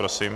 Prosím.